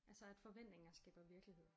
Altså at forventninger skaber virkelighed